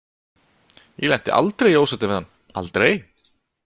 Ég lenti aldrei í ósætti við hann, aldrei.